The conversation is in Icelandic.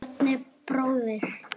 Bjarni bróðir.